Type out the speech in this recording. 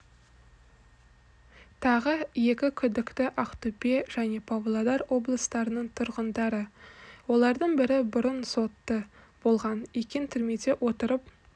тағы екі күдікті ақтөбе және павлодар облыстарының тұрғындары олардың бірі бұрын сотты болған екен түрмеде отырып